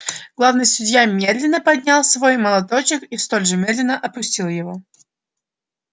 главный судья медленно поднял свой молоточек и столь же медленно опустил его